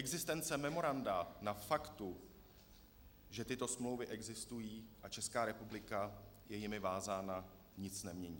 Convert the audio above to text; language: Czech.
Existence memoranda na faktu, že tyto smlouvy existují a Česká republika je jimi vázána, nic nemění.